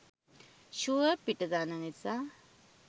Sure පිට දන්න නිසා.